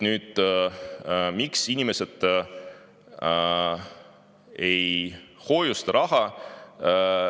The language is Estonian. Miks inimesed ei hoiusta oma raha?